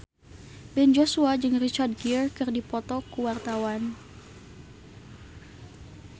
Ben Joshua jeung Richard Gere keur dipoto ku wartawan